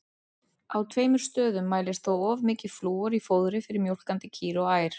Á tveimur stöðum mælist þó of mikið flúor í fóðri fyrir mjólkandi kýr og ær.